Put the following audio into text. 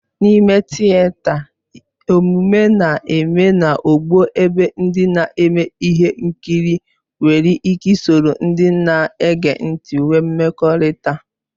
N'ime tịeta, omume na-eme na ogbo ebe ndị na-eme ihe nkiri nwere ike soro ndị na-ege ntị nwee mmekọrịta.